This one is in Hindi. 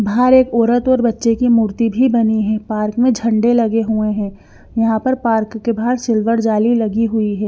बाहर एक औरत और बच्चे की मूर्ति भी बनी है पार्क में झंडे लगे हुए हैं यहां पर पार्क के बाहर सिल्वर जाली लगी हुई है।